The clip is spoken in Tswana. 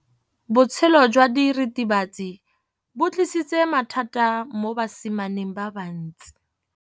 Botshelo jwa diritibatsi ke bo tlisitse mathata mo basimaneng ba bantsi.